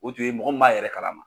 O tun ye mɔgɔ min m'a yɛrɛ kalama.